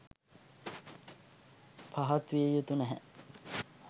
පහත් විය යුතු නැහැ.